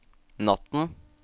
natten